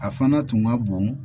A fana tun ka bon